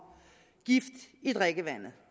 gift i drikkevandet